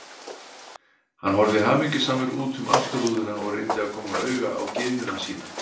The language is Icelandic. Hann horfði hamingjusamur út um afturrúðuna og reyndi að koma auga á gyðjuna sína.